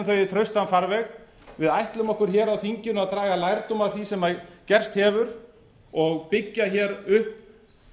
í traustan farveg við ætlum okkur hér á þinginu að draga lærdóm af því sem gerst hefur og byggja hér upp